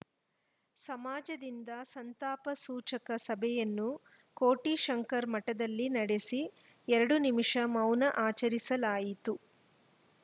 ಸಮಾಜದಿಂದ ಸಂತಾಪ ಸೂಚಕ ಸಭೆಯನ್ನು ಕೋಟೆ ಶಂಕರ ಮಠದಲ್ಲಿ ನಡೆಸಿ ಎರಡು ನಿಮಿಷ ಮೌನ ಆಚರಿಸಲಾಯಿತು